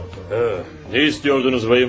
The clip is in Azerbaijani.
A, nə istəyirdiniz, bəy?